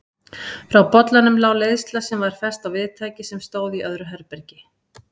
Frá bollanum lá leiðsla sem var fest á viðtæki sem stóð í öðru herbergi.